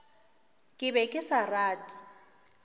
ke be ke sa rate